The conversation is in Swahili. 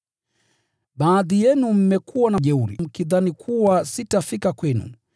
Baadhi yenu mmekuwa na jeuri mkidhani kuwa sitafika kwenu.